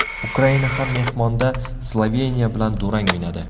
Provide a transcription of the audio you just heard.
Ukraina ham mehmonda Sloveniya bilan durang o‘ynadi.